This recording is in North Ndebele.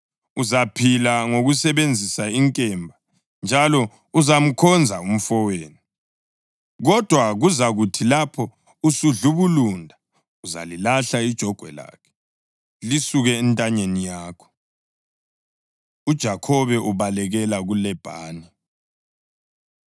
Uzaphila ngokusebenzisa inkemba njalo uzamkhonza umfowenu. Kodwa kuzakuthi lapho usudlubulunda, uzalilahla ijogwe lakhe lisuke entanyeni yakho.” UJakhobe Ubalekela KuLabhani